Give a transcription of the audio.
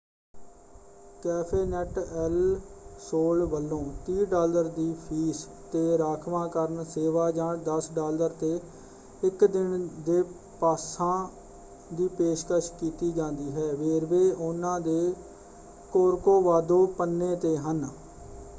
ਕੈਫ਼ੇਨੈੱਟ El Sol ਵੱਲੋਂ 30 dollar ਦੀ fee ‘ਤੇ ਰਾਖਵਾਂਕਰਨ ਸੇਵਾ ਜਾਂ 10 ਡਾਲਰ ‘ਤੇ ਇੱਕ ਦਿਨ ਦੇ ਪਾਸਾਂ ਦੀ ਪੇਸ਼ਕਸ਼ ਕੀਤੀ ਜਾਂਦੀ ਹੈ; ਵੇਰਵੇ ਉਹਨਾਂ ਦੇ ਕੋਰਕੋਵਾਦੋ ਪੰਨੇ ‘ਤੇ ਹਨ।